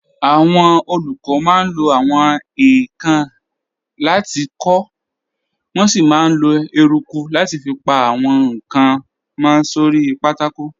Àwọn olùkọ́ máa ń lo àwọn èèkàn láti kọ, wọ́n sì máa ń lo eruku láti fi pa àwọn nǹkan mọ́ sórí pátákó.